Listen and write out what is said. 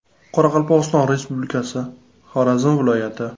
Qoraqalpog‘iston Respublikasi, Xorazm viloyati.